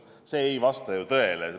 See ei vasta ju tõele!